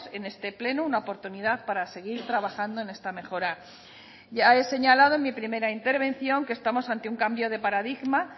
en este pleno una oportunidad para seguir trabajando en esta mejora ya he señalado en mi primera intervención que estamos ante un cambio de paradigma